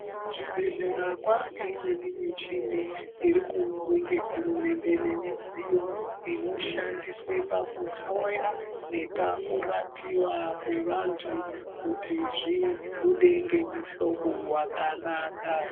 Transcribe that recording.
Kuzvibhehleya kwane imweni muchini irikuunzwe ngehurumende ngemidziyo inoshandiswe pakuhloya nepakurapiwa kwevantu kuti zvibude ngemuhlobo wakanaka.